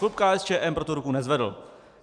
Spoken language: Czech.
Klub KSČM pro to ruku nezvedl.